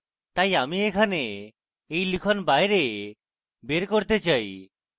তাই আমি এখানে এই লিখন বাইরে বের করতে চাই